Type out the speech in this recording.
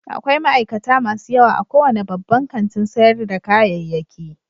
Akwai ma'aikata masu yawa a kowane babban kantin sayar da kayayyaki